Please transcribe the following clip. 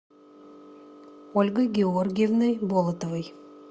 ольгой георгиевной болотовой